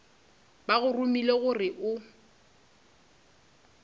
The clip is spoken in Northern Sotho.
ba go romile gore o